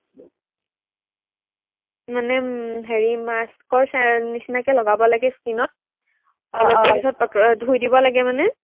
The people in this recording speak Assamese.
মানে উম হেৰি mask ৰ নিচিনাকে লগাব লাগে skin ত আহ অলপ দেৰিৰ পিছত ধুই দিব লাগে মানে